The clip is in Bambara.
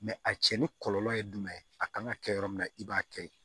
a cɛnni kɔlɔlɔ ye jumɛn ye a kan ka kɛ yɔrɔ min na i b'a kɛ yen